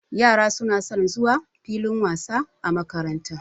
Yara suna son zuwa filin wasa a makaranta.